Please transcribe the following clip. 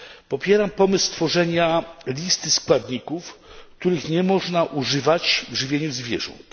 Popieram pomysł stworzenia listy składników, których nie można używać w żywieniu zwierząt.